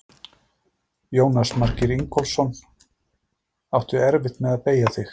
Jónas Margeir Ingólfsson: Áttu erfitt með að beygja þig?